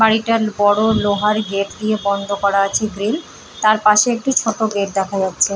বাড়িটা বড় লোহার গেট দিয়ে বন্ধ করা আছে গ্রিল তার পাশে একটি ছোট গেট দেখা যাচ্ছে।